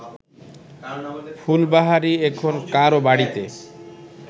ফুলবাহারি এখন কারও বাড়িতে